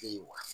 E ye wa